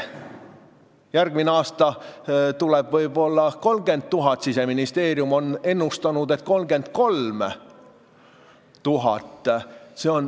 Järgmine aasta tuleb võib-olla 30 000 inimest, Siseministeerium on ennustanud, et 33 000.